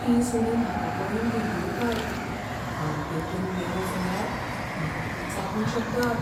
तीं सुणीं म्हाका पळोवन गुरगुरतात. हांव तेवटेन गेलो जाल्यार म्हाका तीं चाबूंक शकतात..